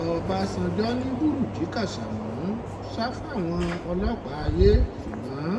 ọ̀bánjọ́ ni bùrúnjí kásámù sá fáwọn ọlọ́pàá ayé ṣùgbọ́n